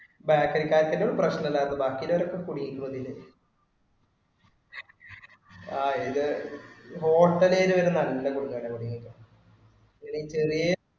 Bakery ക്കാർക്ക് ഒരു പ്രശനം ഇല്ലാരുന്നു, ബാക്കി ഉള്ളവരൊക്കെ കുടുങ്ങിയിരിക്കുന്നു ഇതില്. അഹ് ഇതില് hotel ഇൽ നിന്ന് വരുന്ന അല്ല കുടുങ്ങിയത്. ഇത് ചെറിയെ